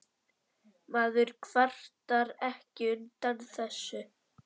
Maður kvartar ekki undan þessu.